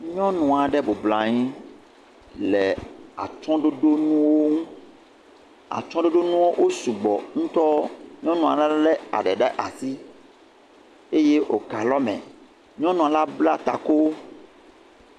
Nyɔnu aɖe bublɔa nyi le atsɔɖoɖo ŋuwo ŋu. Atsɔɖoɖoŋuwo wo sugbɔ ŋutɔ. Nyɔnua ɖe le eɖe le asi eye woka lɔ me. Nyɔnua la bla ta ku.